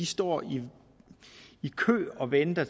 står i i kø og venter